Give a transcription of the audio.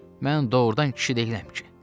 Mən doğrudan kişi deyiləm ki.